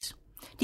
DR1